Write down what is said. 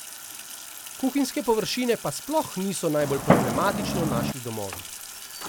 Kuhinjske površine pa sploh niso najbolj problematične v naših domovih.